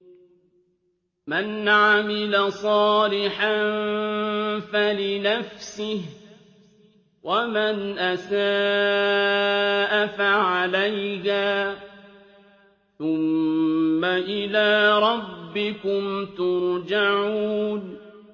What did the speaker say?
مَنْ عَمِلَ صَالِحًا فَلِنَفْسِهِ ۖ وَمَنْ أَسَاءَ فَعَلَيْهَا ۖ ثُمَّ إِلَىٰ رَبِّكُمْ تُرْجَعُونَ